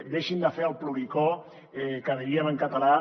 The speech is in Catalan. deixin de fer el ploricó que diríem en català